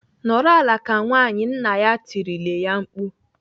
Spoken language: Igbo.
"Nọrọ ala ka nwaanyị!" Nna ya tirile ya mkpu.